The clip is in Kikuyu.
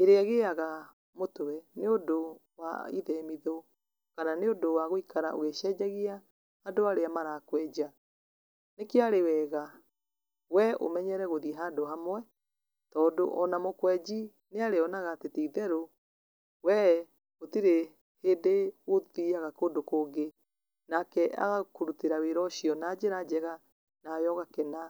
ĩrĩa ĩtiganĩte nĩ ũndũ wa ithemitho kana nĩ ũndũ wa gũikaraga ũgĩcenjagia andũ arĩa marakwenja, nĩ kĩo arĩ wega we ũmenyere gũthiĩ handũ hamwe tondũ ona mũkwenji nĩ arĩonaga atĩ ti therũ we gũtirĩ hĩndĩ ũthiaga kũndũ kũngĩ nake agakũrutĩra wĩra na njĩra wega, nawe ũgakena.